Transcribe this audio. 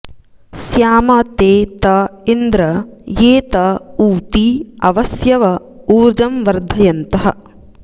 स्याम ते त इन्द्र ये त ऊती अवस्यव ऊर्जं वर्धयन्तः